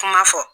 Kuma fɔ